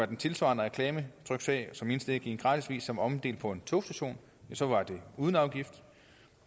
den tilsvarende reklametryksag som indstik i en gratisavis som blev omdelt på en togstation så var den uden afgift